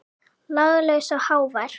Laglaus og hávær.